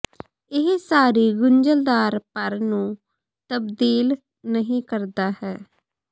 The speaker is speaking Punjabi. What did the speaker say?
ਇਹ ਸਾਰੀ ਗੁੰਝਲਦਾਰ ਭਰ ਨੂੰ ਤਬਦੀਲ ਨਹੀ ਕਰਦਾ ਹੈ